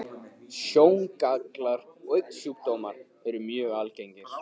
Sjóngallar og augnsjúkdómar eru mjög algengir.